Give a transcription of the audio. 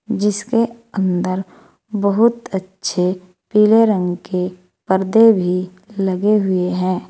जिसके अंदर बहुत अच्छे पीले रंग के पर्दे भी लगे हुए हैं।